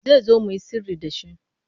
Zai zo mu yi sirri da shi.